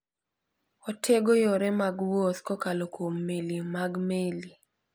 Otego yore mag wuoth kokalo kuom meli mag meli.